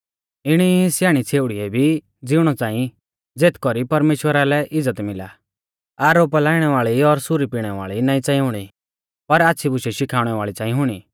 इणी ई स्याणी छ़ेउड़िउऐ भी ज़िउणौ च़ांई ज़ेथ कौरी परमेश्‍वरा लै इज़्ज़त मिला आरोपा लाइणै वाल़ी और सुरी पिणै वाल़ी नाईं च़ांई हुणी पर आच़्छ़ी बुशै शिखाउणै वाल़ी च़ांई हुणी